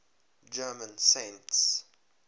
german saints